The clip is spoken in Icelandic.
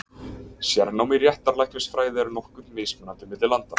Sérnám í réttarlæknisfræði er nokkuð mismunandi milli landa.